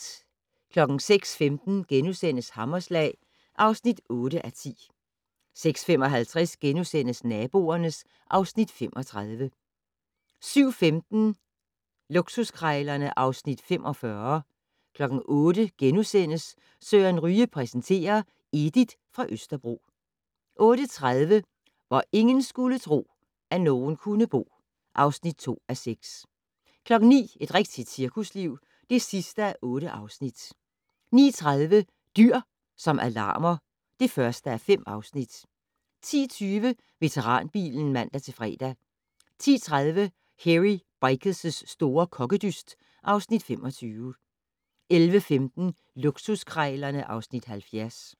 06:15: Hammerslag (8:10)* 06:55: Naboerne (Afs. 35)* 07:15: Luksuskrejlerne (Afs. 45) 08:00: Søren Ryge præsenterer: Edith fra Østerbro * 08:30: Hvor ingen skulle tro, at nogen kunne bo (2:6) 09:00: Et rigtigt cirkusliv (8:8) 09:30: Dyr som alarmer (1:5) 10:20: Veteranbilen (man-fre) 10:30: Hairy Bikers' store kokkedyst (Afs. 25) 11:15: Luksuskrejlerne (Afs. 70)